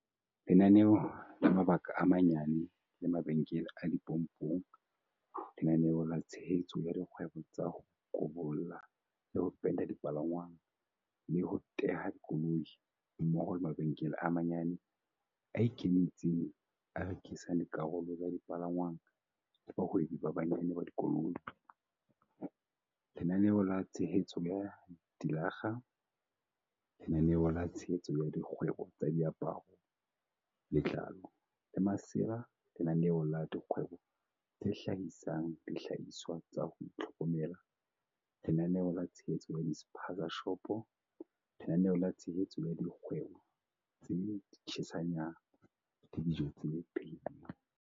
Lenaneo la mabaka a manyane le mabenkele a dipompong Lenaneo la tshehetso ya dikgwebo tsa ho kobolla le ho penta dipalangwang le ho teha dikoloi, mmoho le mabenkele a manyane a ikemetseng a rekisang dikarolo tsa dipalangwang le bahwebi ba banyane ba dikoloi, Lenaneo la tshehetso ya dilakga Lenaneo la tshehetso ya dikgwebo tsa diaparo, letlalo le masela Lenaneo la dikgwebo tse hlahisang dihlahiswa tsa ho itlhokomela Lenaneo la tshehetso ya di-spaza-shopo Lenaneo la tshehetso ya dikgwebo tsa di-tshisa nyama le dijo tse phehi lweng.